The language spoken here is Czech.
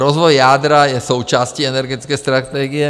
Rozvoj jádra je součástí energetické strategie.